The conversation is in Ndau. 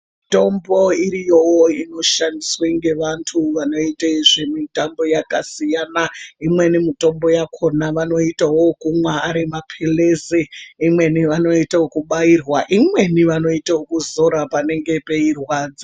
Mitombo iriyowo inoshandiswe ngevantu vanoite zvemitombo yakasiyana , imweni mitombo yakona vanoitawo wokumwa arimaphirizi , imweni vanoita okubairwa , imweni vanoita okuzora panenge peirwadza.